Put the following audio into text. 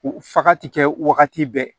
U faga ti kɛ wagati bɛɛ